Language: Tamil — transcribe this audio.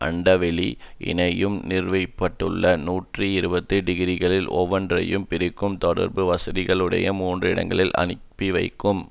அண்டவெளி இணையம் நிறுவ பட்டுள்ள நூற்றி இருபது டிகிரிகள் ஒவ்வொன்றையும் பிரிக்கும் தொடர்பு வசதிகளையுடைய மூன்று இடங்களுக்கு அனுப்பிவைக்கும்